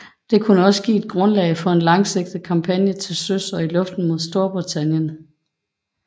Det skulle også give et grundlag for en langsigtet kampagne til søs og i luften mod Storbritannien